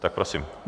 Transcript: Tak prosím.